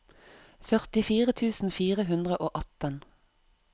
førtifire tusen fire hundre og atten